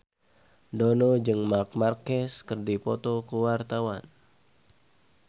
Dono jeung Marc Marquez keur dipoto ku wartawan